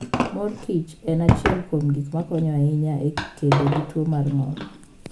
Mor Kichen achiel kuom gik makonyo ahinya e kedo gi tuwo mar ng'ol.